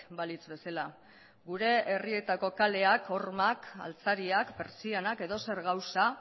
balitz bezala gure herrietako kaleak hormak altzariak pertsianak edozer gauza